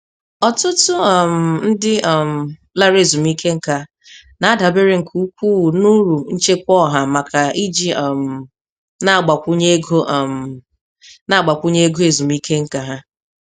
Ọtụtụ um ndị um lara ezumike nká na-adabere nke ukwu n'uru nchekwa ọha maka iji um na-agbakwunye ego um na-agbakwunye ego ezumike nká ha.